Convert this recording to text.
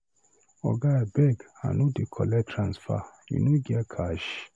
Oga abeg I no dey collect transfer, you no get cash?